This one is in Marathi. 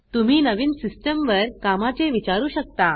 तुम्ही नवीन सिस्टम वर कामाचे विचारू शकता